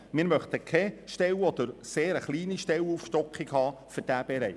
Wir möchten keine oder nur eine sehr kleine Aufstockung von Stellen in diesem Bereich.